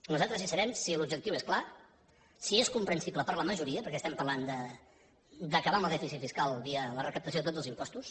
nosaltres hi serem si l’objectiu és clar si és comprensible per a la majoria perquè estem parlant d’acabar amb el dèficit fiscal via la recaptació de tots els impostos